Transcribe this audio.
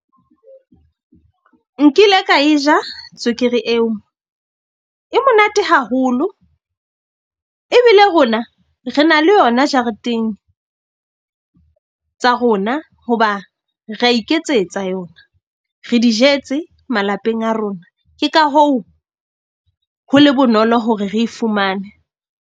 Nkile ka e ja tswekere eo e monate haholo. Ebile rona re na le yona jareteng tsa rona. Hoba ra iketsetsa yona re di jetse malapeng a rona. Ke ka hoo ho le bonolo hore re e fumane.